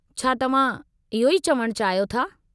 छा तव्हां इहो ई चवणु चाहियो था?